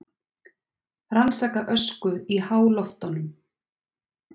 Rannsaka ösku í háloftunum